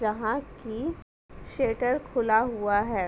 यहां की शेट्टर खुला हुआ है।